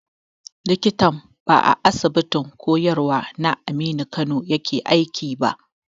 Likitan ba ya Asibitin koyarwa na Aminu Kano yake aiki ba.